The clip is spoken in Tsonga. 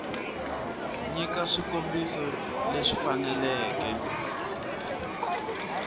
u nyika swikombiso leswi faneleke